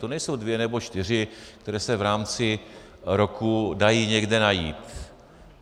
To nejsou dvě nebo čtyři, které se v rámci roku dají někde najít.